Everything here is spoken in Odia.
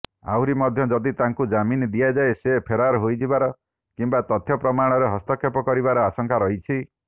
ଆହୁରିମଧ୍ୟ ଯଦି ତାଙ୍କୁ ଜାମିନ ଦିଆଯାଏ ସେ ଫେରାର ହୋଇଯିବାର କିମ୍ବା ତଥ୍ୟପ୍ରମାଣରେ ହସ୍ତକ୍ଷେପ କରିବାର ଆଶଙ୍କା ରହିଛି